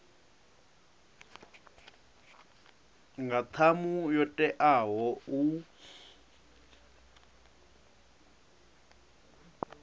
nga ṱhamu yo teaho u